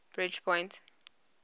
bridgepoint